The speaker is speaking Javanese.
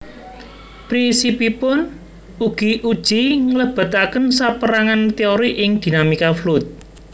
Prisipipun uji nglebetaken sapérangan téori ing dinamika fluid